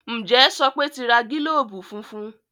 Njé Sope n ti rà gilobu fúnfún?